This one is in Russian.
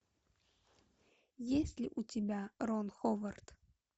есть ли у тебя рон ховард